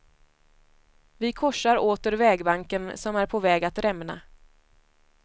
Vi korsar åter vägbanken som är på väg att rämna.